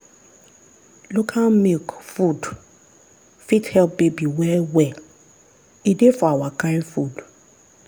local milk food fit help baby well well e dey for our kind food.